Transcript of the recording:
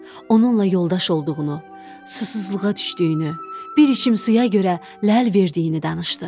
Onunla yoldaş olduğunu, susuzluğa düşdüyünü, bir içim suya görə ləl verdiyini danışdı.